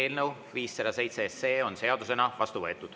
Eelnõu 507 on seadusena vastu võetud.